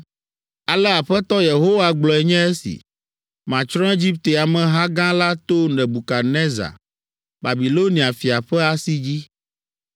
“ ‘Ale Aƒetɔ Yehowa gblɔe nye esi: “ ‘Matsrɔ̃ Egipte ameha gã la to Nebukadnezar, Babilonia fia ƒe asi dzi.